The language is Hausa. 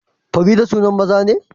Farida sunan maza ne